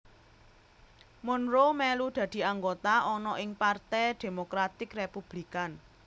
Monroe mèlu dadi anggota ana ing Parte Demokratik Republikan